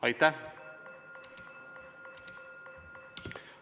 Aitäh!